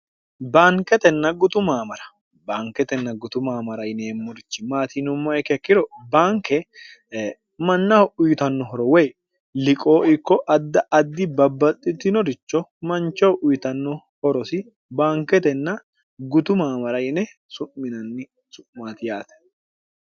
baanketenna gutu maamara baanketenna gutu maamara yine eemmorichi maatinummoikkekkiro baanke mannaho uyitannohoro woy liqoo ikko adda addi babbaxxitinoricho manchoho uyitanno horosi baanketenna gutu maamara yine su'minanni su'maati yaate